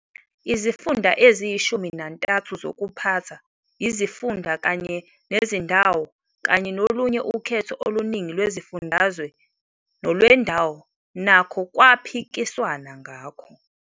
Izifunda eziyishumi nantathu zokuphatha izifunda kanye nezindawo kanye nolunye ukhetho oluningi lwezifundazwe nolwendawo nakho kwaphikiswana ngakho.